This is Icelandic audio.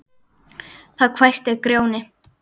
Þá hvæsti Grjóni